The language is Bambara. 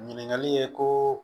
Ɲininkali ye ko